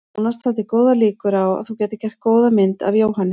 Jónas taldi góðar líkur á að þú gætir gert góða mynd af Jóhanni.